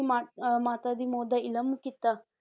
ਦੀ ਮਾਂ ਅਹ ਮਾਤਾ ਦੀ ਮੌਤ ਦਾ ਇਲਮ ਕੀਤਾ